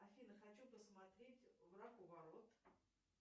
афина хочу посмотреть враг у ворот